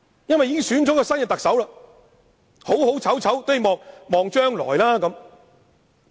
新特首已選出，不論好醜，也要寄望將來。